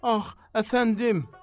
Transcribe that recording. Ah, əfəndim!